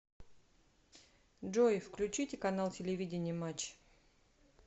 джой включите канал телевидения матч